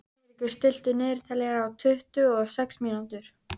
Eiríkur, stilltu niðurteljara á tuttugu og sex mínútur.